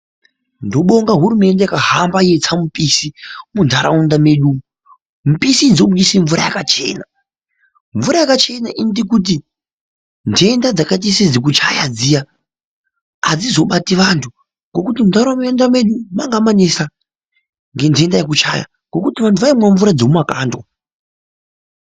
Ndobonga hurumente yakahamba yeitsa mupisi mundaraunda medu .Mupisi idzi dzoburitsa mvura yakachena .Mvura yakachena inoita kuti ndenda dzakachise dzekuchaya dziya ,adzizobati antu ngekuti mundaraunda mwedu mana manesa ngendenda yeekuchaya ngekuti vantu vaimwe mvura dzemumakandwa.